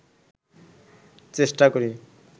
চেষ্টা করি